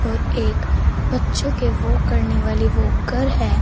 और एक बच्चों के वॉक करने वाली वॉकर है।